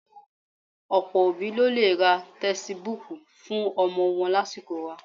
Ọ̀pọ̀ òbí ló lè ra tẹsibúùkù fún ọmọ wọn lásìkò wa